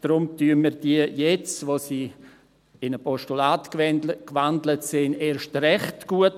Deshalb heissen wir sie jetzt, wo sie in ein Postulat gewandelt sind, erst recht gut.